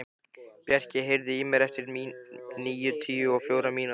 Bjarki, heyrðu í mér eftir níutíu og fjórar mínútur.